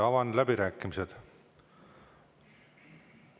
Avan läbirääkimised.